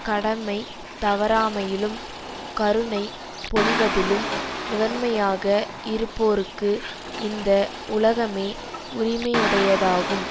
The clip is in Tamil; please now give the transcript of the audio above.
கடமை தவறாமையிலும் கருணை பொழிவதிலும் முதன்மையாக இருப்போருக்கு இந்த உலகமே உரிமையுடையதாகும்